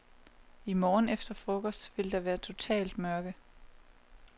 I morgen efter frokost vil der være totalt mørke.